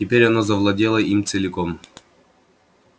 теперь оно завладело им целиком